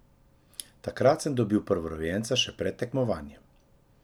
Takrat sem dobil prvorojenca še pred tekmovanjem.